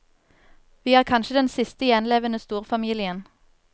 Vi er kanskje den siste gjenlevende storfamilien.